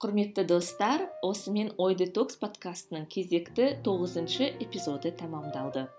құрметті достар осымен ой детокс подкастының кезекті тоғызыншы эпизоды тәмамдалды